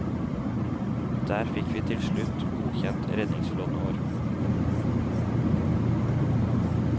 Der fikk vi tilslutt godkjent redningsflåten vår.